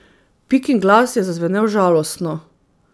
Pikin glas je zazvenel žalostno.